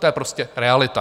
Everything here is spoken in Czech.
To je prostě realita.